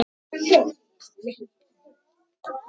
Farsæl opnun.